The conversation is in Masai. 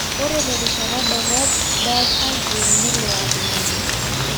ore terishata dorop ,Buzz Aldrin nelo atumore.